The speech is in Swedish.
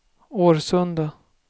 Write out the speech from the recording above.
Årsunda